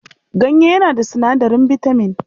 Ganye yana da sinadarin bitaman.